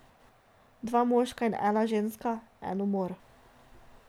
Dva moška in ena ženska, en umor.